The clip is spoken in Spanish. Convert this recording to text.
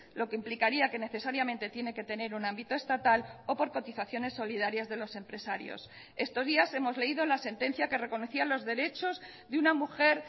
lo que implicaría que necesariamente tiene que tener un ámbito estatal o por cotizaciones solidarias de los empresarios estos días hemos leído la sentencia que reconocía los derechos de una mujer